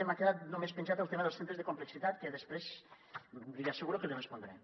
m’ha quedat només penjat el tema dels centres de complexitat que després li asseguro que l’hi respondré